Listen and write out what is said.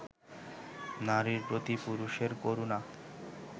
নারীর প্রতি পুরুষের করুণা